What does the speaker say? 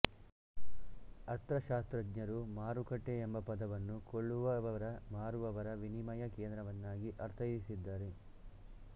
ಅರ್ಥಶಾಸ್ತ್ರಜ್ಞರು ಮಾರುಕಟ್ಟೆ ಎಂಬ ಪದವನ್ನು ಕೊಳ್ಳುವವರಮಾರುವವರ ವಿನಿಮಯ ಕೇಂದ್ರವನ್ನಾಗಿ ಅರ್ಥೈಸಿದ್ದಾರೆ